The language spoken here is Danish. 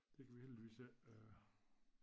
Det kan vi heldigvis ik øh